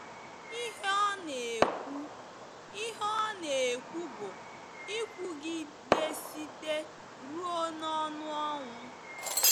Ihe ọ na-ekwu Ihe ọ na-ekwu bụ ịkwụgịdesite ruo n'ọnụ ọnwụ.